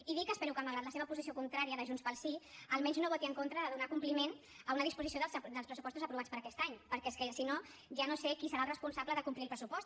i dir que espero que malgrat la seva posició contrària de junts pel sí almenys no voti en contra de donar compliment a una disposició dels pressupostos aprovats per aquest any perquè és que si no ja no sé qui serà el responsable de complir el pressupost